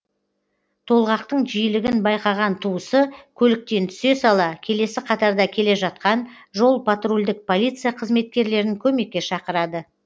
толғақтың жиілігін байқаған туысы көліктен түсе сала келесі қатарда келе жатқан жол патрульдік полиция қызметкерлерін көмекке шақырады